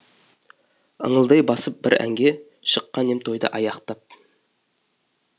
ыңылдай басып бір әнге шыққан ем тойды аяқтап